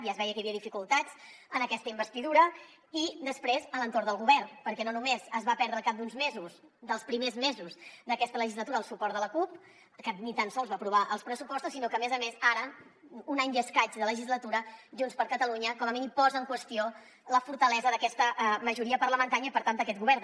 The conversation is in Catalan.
ja es veia que hi havia dificultats en aquesta investidura i després a l’entorn del govern perquè no només es va perdre al cap d’uns mesos dels primers mesos d’aquesta legislatura el suport de la cup que ni tan sols va aprovar els pressupostos sinó que a més a més ara a un any i escaig de legislatura junts per catalunya com a mínim posa en qüestió la fortalesa d’aquesta majoria parlamentària i per tant d’aquest govern